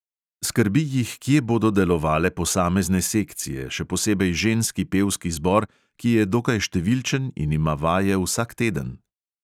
Skrbi jih, kje bodo delovale posamezne sekcije, še posebej ženski pevski zbor, ki je dokaj številčen in ima vaje vsak teden.